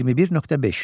21.5.